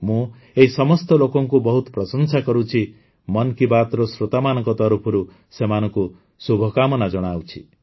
ମୁଁ ଏହି ସମସ୍ତ ଲୋକଙ୍କୁ ବହୁତ ପ୍ରଶଂସା କରୁଛି ମନ୍ କୀ ବାତ୍ର ଶ୍ରୋତାମାନଙ୍କ ତରଫରୁ ସେମାନଙ୍କୁ ଶୁଭକାମନା ଜଣାଉଛି